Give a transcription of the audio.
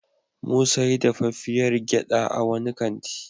Mu sayi dafaffiyar gyaɗa a wani kanti.